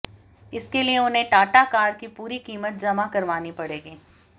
इसके लिए उन्हें टाटा कार की पूरी कीमत जमा करवानी पड़ेगी